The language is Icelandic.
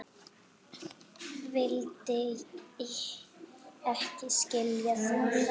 Vildi ekki skilja það.